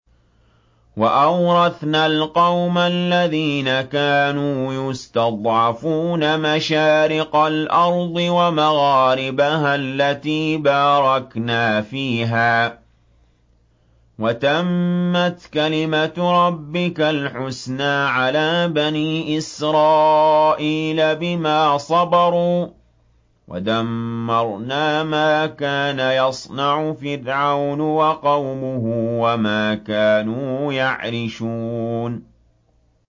وَأَوْرَثْنَا الْقَوْمَ الَّذِينَ كَانُوا يُسْتَضْعَفُونَ مَشَارِقَ الْأَرْضِ وَمَغَارِبَهَا الَّتِي بَارَكْنَا فِيهَا ۖ وَتَمَّتْ كَلِمَتُ رَبِّكَ الْحُسْنَىٰ عَلَىٰ بَنِي إِسْرَائِيلَ بِمَا صَبَرُوا ۖ وَدَمَّرْنَا مَا كَانَ يَصْنَعُ فِرْعَوْنُ وَقَوْمُهُ وَمَا كَانُوا يَعْرِشُونَ